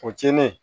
O tiɲenen